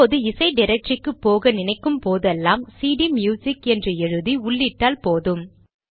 இப்போது இசை டிரக்டரிக்கு போக நினைக்கும் போதெல்லாம் சிடிம்யுசிக் என்று எழுதி உள்ளிட்டால் போதும்